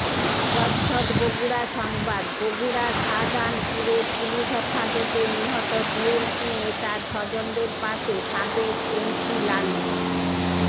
প্রচ্ছদ বগুড়া সংবাদ বগুড়ার শাজাহানপুরে পুলিশ হেফাজতে নিহত বিএনপি নেতার স্বজনদের পাশে সাবেক এমপি লালু